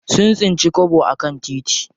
Sun tsinci kwabo a kan titi.